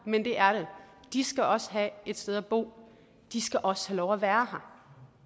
men det er der de skal også have et sted at bo de skal også have lov at være her